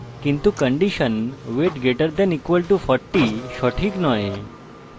কিন্তু condition weight greater than equal to 40 সঠিক নয়